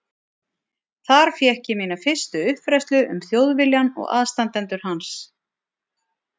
Þar fékk ég mína fyrstu uppfræðslu um Þjóðviljann og aðstandendur hans.